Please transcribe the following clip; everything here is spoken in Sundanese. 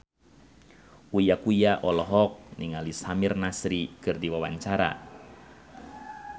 Uya Kuya olohok ningali Samir Nasri keur diwawancara